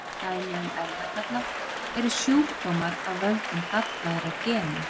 Dæmi um erfðagalla eru sjúkdómar af völdum gallaðra gena.